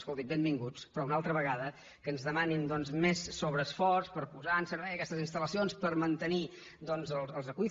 escoltin benvinguts però una altra vegada que ens demanin doncs més sobreesforç per posar en servei aquestes instal·lacions per mantenir doncs els aqüífers